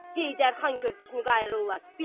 Heydər xan körpüsünü qayırırlar.